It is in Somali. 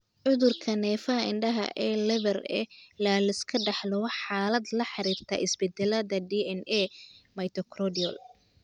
Cudurka neerfaha indhaha ee Leber ee la iska dhaxlo waa xaalad la xiriirta isbeddellada DNA-da mitochondrial.